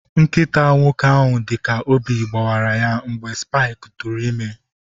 Nkịta nwoke ahụ dị ka obi gbawara ya mgbe Spike tụụrụ ime.